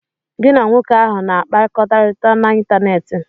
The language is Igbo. Gị na nwoke ahụ na-akpakorịta n'ịntanetị?